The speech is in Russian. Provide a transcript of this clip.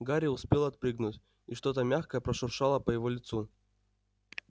гарри успел отпрыгнуть и что-то мягкое прошуршало по его лицу